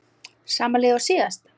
Sama lið og síðast?